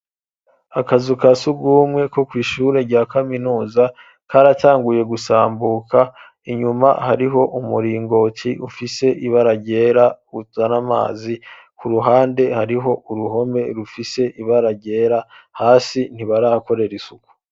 Akazu kasugumwe ko kw' ishure rya kaminuza karatanguye gusambuka inyuma hariho umuringoti ufise ibara ryera uzana amazi ku ruhande hariho uruhome rufise ibara ryera hasi ntibahakorera isuku.